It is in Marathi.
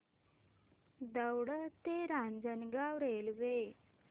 दौंड ते रांजणगाव रेल्वे